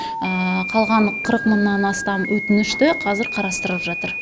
қалған қырық мыңнан астам өтінішті қазір қарастырып жатыр